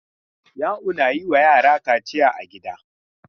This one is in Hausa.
Ya'u na yin wa yara kaciya a gida.